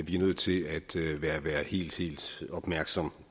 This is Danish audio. er nødt til at være være helt helt opmærksom